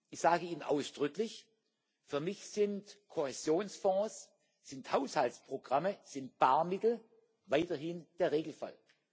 Ich sage Ihnen ausdrücklich Für mich sind Kohäsionsfonds, sind Haushaltsprogramme, sind Barmittel weiterhin der Regelfall.